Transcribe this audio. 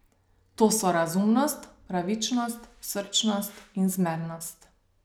To so razumnost, pravičnost, srčnost in zmernost.